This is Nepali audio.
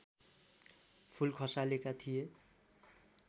फूल खसालेका थिए